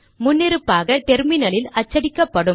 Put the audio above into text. முன்னிருப்பாக டெர்மினலில் அச்சடிக்கப்படும்